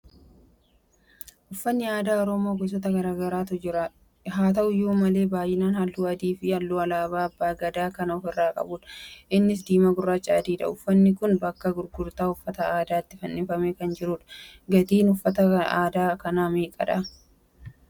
Uffanni aadaa Oromoo gosoota garagaraatu jira. Haa ta'uyyu malee baay'inaan haluu adii fi halluu Alaabaa Abbaa Gadaa kan ofirraa qabudha. Innis diimaa, gurraachaa fi adiidha. Uffanni kun bakka gurgurtaa uffata aadaatti fannifamee kan jirudha. Gatiin uffata aadaa kanaa meeqadha.